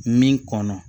Min kɔnɔ